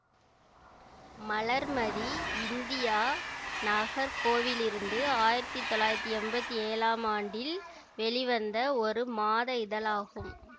மலர் Mathi India நாகர் கோவிலிருந்து ஆயிரத்தி தொள்ளாயிரத்தி என்பத்தி ஏழாம் ஆண்டில் வெளிவந்த ஒரு மாத இதழாகும்